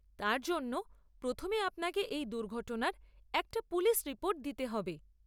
তার জন্য প্রথমে আপনাকে এই দুর্ঘটনার একটা পুলিশ রিপোর্ট দিতে হবে।